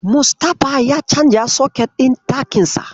Mustapha ya canza soket ɗin ɗakinsa.